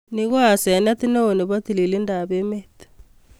ni ko asenet neo nepo tililindap emet